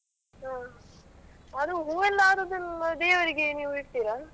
ಹಾ ಅದು ಹೂ ಎಲ್ಲಾ ಆದದ್ದು ದೇವರಿಗೆಲ್ಲಾ ನೀವು ಇಡ್ತೀರಾ?